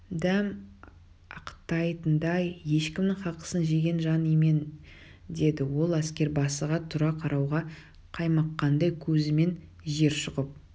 дәм ақтайтындай ешкімнің хақысын жеген жан емен деді ол әскербасыға тура қарауға қаймыққандай көзімен жер шұқып